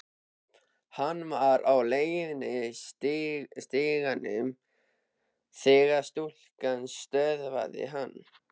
Hann var á leið að stiganum þegar stúlkan stöðvaði hann.